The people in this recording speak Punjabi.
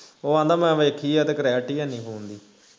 ਉਹ ਆਂਦਾ ਮੈਂ ਵੇਖੀ ਆ ਤੇ clarity ਹੈਨੀ phone ਦੀ